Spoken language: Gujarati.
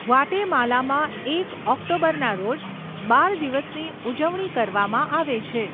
ગ્વાટેમાલામાં એક ઓક્ટોબરના રોજ બાળ દિવસની ઉજવણી કરવામાં આવે છે.